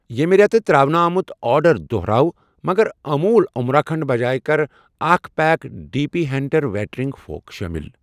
ییٚمہِ رٮ۪تہٕ ترٛاونہٕ آمُت آرڈر دۄہراو مگر اموٗل امرا کھنٛڈ بجایہ کر اکھ پیک ڈی پی ہینٛٹر ویٹرِنگ فورٕک شٲمِل۔